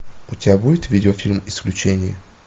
у тебя будет видео фильм исключение